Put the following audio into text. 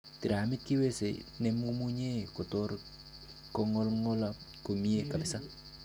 Tiramit kiwese nemomunye kotor kongolngolak komie kabisa.